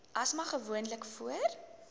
asma gewoonlik voor